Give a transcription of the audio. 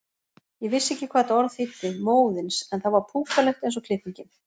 Ég vissi ekki hvað þetta orð þýddi, móðins, en það var púkalegt eins og klippingin.